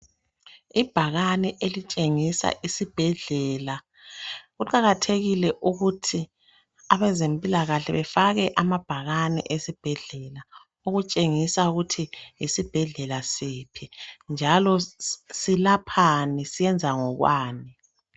Ibhakane elitshengisa isibhedlela kuqakathekile ukuthi abezimpilakahle bafake amabhakane esibhedlela ,ukutshengisa ukuthi yisibhedlela siphi njalo silaphani , senza ngokwani .